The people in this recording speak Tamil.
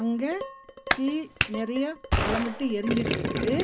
இங்க தீ நெறையா மலமட்டு எரிஞ்சிட்டுருக்குது.